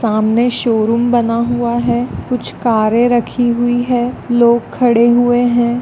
सामने शोरूम बना हुआ है। कुछ कार्य रखी हुई है। लोग खड़े हुए हैं।